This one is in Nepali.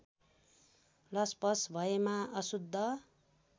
लसपस भएमा असुद्ध